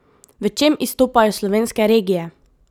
V čem izstopajo slovenske regije?